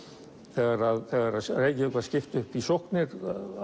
þegar þegar Reykjavík var skipt upp í sóknir